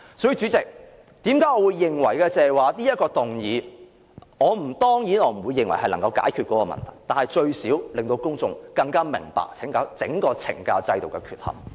所以，主席，我當然不會認為提出這項議案便能解決問題，但最少可令公眾更明白整個懲教制度的缺憾。